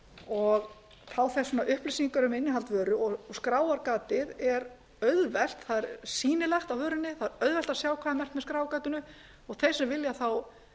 og fá þess vegna upplýsingar um innihald vöru og skráargatið er auðvelt það er sýnilegt á vörunni það er auðvelt að sjá hvað merkt er með skráargatinu og þeir sem vilja þá